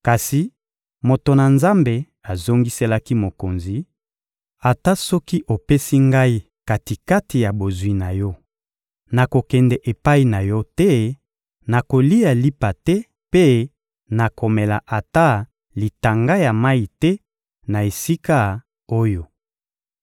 Kasi moto na Nzambe azongiselaki mokonzi: — Ata soki opesi ngai kati-kati ya bozwi na yo, nakokende epai na yo te, nakolia lipa te mpe nakomela ata litanga ya mayi te na esika oyo.